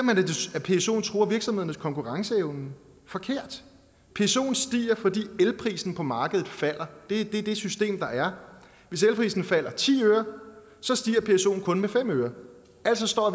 at psoen truer virksomhedernes konkurrenceevne forkert psoen stiger fordi elprisen på markedet falder det er det system der er hvis elprisen falder ti øre stiger psoen kun med fem øre altså står